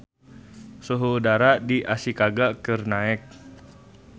Suhu udara di Ashikaga keur naek